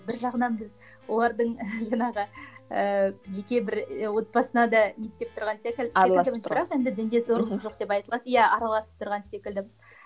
бір жағынан біз олардың ы жаңағы ыыы жеке бір отбасына да не істеп тұрған секілдіміз бірақ енді дінге зорлық жоқ деп айтылады иә араласып тұрған секілдіміз